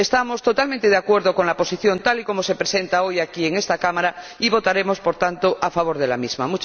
Estamos totalmente de acuerdo con la posición, tal y como se presenta hoy aquí en esta Cámara, y votaremos, por tanto, a favor de la misma.